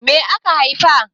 Me aka haifa?